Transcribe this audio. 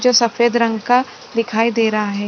जो सफेद रंग का दिखाई दे रहा है।